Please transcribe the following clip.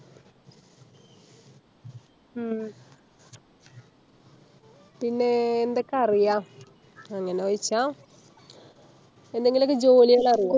ഉം പിന്നെ എന്തൊക്ക അറിയ അങ്ങനെ ചോയിച്ച എന്തെങ്കിലൊക്കെ ജോലികള് അറിയോ